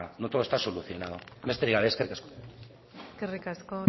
no todo está solucionado besterik gabe eskerrik asko eskerrik asko